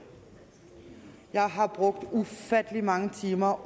jeg har brugt ufattelig mange timer